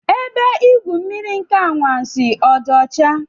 Ebe igwu mmiri nke Ime Anwansi ọ dị ọcha?